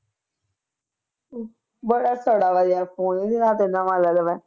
ਬੜਾ ਸੜਾ ਜਿਹਾ phone ਜਾਂ ਤੇ ਨਵਾਂ ਲੈ ਲਵੇ।